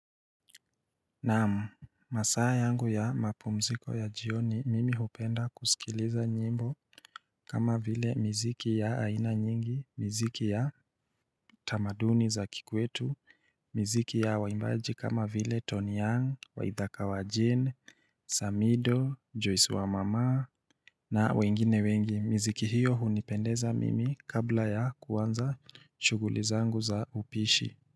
Naam masaa yangu ya mapumziko ya jioni mimi hupenda kusikiliza nyimbo kama vile mziki ya aina nyingi, mziki ya tamaduni za kikwetu, mziki ya waimbaji kama vile Tony Young, waithaka wa Jean, Samido, Joyce wa mama na wengine wengi mziki hiyo hunipendeza mimi kabla ya kuanza shughuli zangu za upishi.